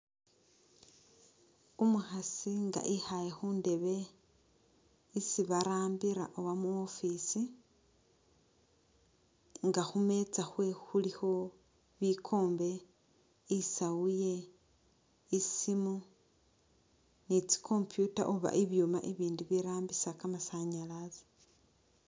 Umukhasi nga ikhaale khundebe isi barambila oba mu'office nga khu meetsa khwe khulikho bikombe, isaawu ye ne tsi'computer oba ibyuma ibirambisa kamasanyalazi.